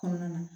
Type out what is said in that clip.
Kɔnɔna na